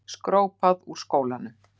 Skrópað úr skólanum.